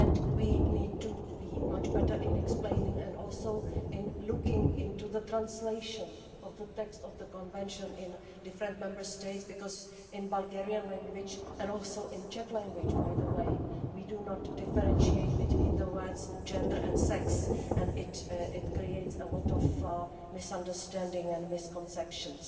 We need to do be much better at explaining and also in looking into the translation of the text of the Convention in different Member States, because in the Bulgarian language and also in the Czech language by the way we do not differentiate between the words gender and sex, and this creates a lot of misunderstanding and misconceptions.